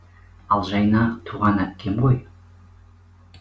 ал жайна туған әпкем ғой